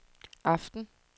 aften